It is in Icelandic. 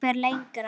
Ég fer lengra.